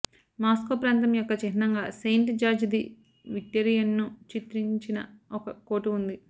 Moscow ప్రాంతం యొక్క చిహ్నంగా సెయింట్ జార్జ్ ది విక్టెరియన్ను చిత్రించిన ఒక కోటు ఉంది